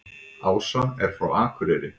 Ása er frá Akureyri.